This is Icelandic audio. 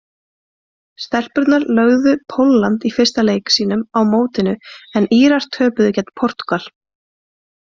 Stelpurnar lögðu Pólland í fyrsta leik sínum á mótinu en Írar töpuðu gegn Portúgal.